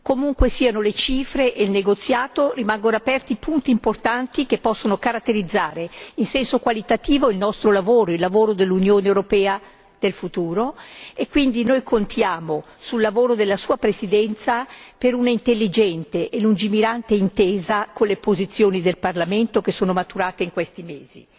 Comunque siano le cifre e il negoziato, rimangono aperti punti importanti che possono caratterizzare in senso qualitativo il nostro lavoro, il lavoro dell'Unione europea del futuro e quindi noi contiamo sul lavoro della Sua Presidenza per un'intelligente e lungimirante intesa con le posizioni del Parlamento che sono maturate in questi mesi.